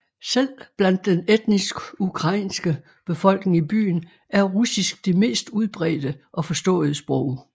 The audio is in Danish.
Selv blandt den etnisk ukrainske befolkning i byen er russisk det mest udbredte og forståede sprog